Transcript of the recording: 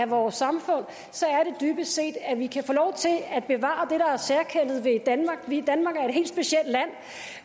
for vores samfund så er det dybest set at vi kan få lov til at bevare det er særkendet ved danmark danmark